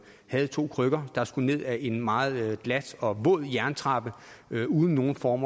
to krykker og som skulle ned ad en meget glat og en våd jerntrappe uden nogen form